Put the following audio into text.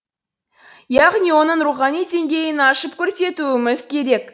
яғни оның рухани деңгейін ашып көрсетуіміз керек